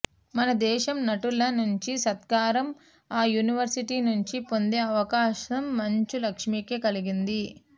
మన దేశం నటుల నుంచి సత్కారం ఆ యూనివర్శిటీ నుంచి పొందే అవకాసం మంచు లక్ష్మికే కలిగింది